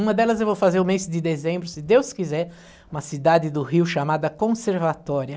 Uma delas eu vou fazer o mês de dezembro, se Deus quiser, uma cidade do Rio chamada Conservatória.